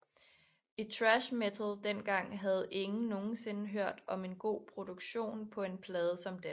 I thrash metal dengang havde ingen nogensinde hørt en god produktion på en plade som den